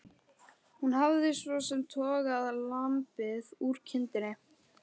Hún hafði svo sem togað lambið úr kindinni.